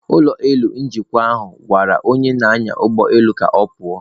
Ụlọ elu njikwa ahụ gwara onye na-anya ụgbọelu ka ọ pụọ.